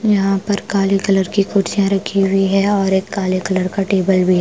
यहां पर काले कलर की कुर्तियां रखी हुई है और एक काले कलर का टेबल भी है ।